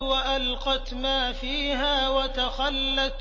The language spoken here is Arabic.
وَأَلْقَتْ مَا فِيهَا وَتَخَلَّتْ